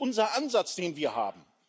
Das ist doch unser Ansatz, den wir haben.